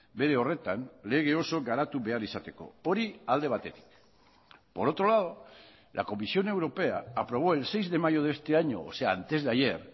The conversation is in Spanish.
bere horretan lege oso garatu behar izateko hori alde batetik por otro lado la comisión europea aprobó el seis de mayo de este año o sea antesdeayer